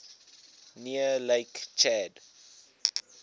near lake chad